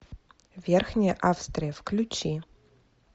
верхняя австрия включи